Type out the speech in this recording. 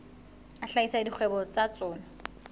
a hlahisa dikgwebo tsa tsona